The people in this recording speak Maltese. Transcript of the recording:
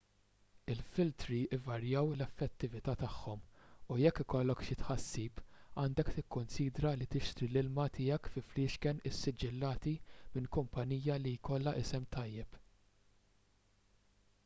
il-filtri jvarjaw fl-effettività tagħhom u jekk ikollok xi tħassib għandek tikkunsidra li tixtri l-ilma tiegħek fi fliexken issiġillati minn kumpanija li jkollha isem tajjeb